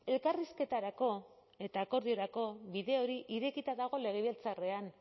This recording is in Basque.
elkarrizketarako eta akordiorako bide hori irekita dago legebiltzarrean